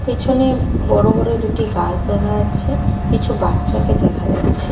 পেছনে বড় বড় দুটি গাস দেখা যাচ্ছে কিছু বাচ্চাকে দেখা যাচ্ছে।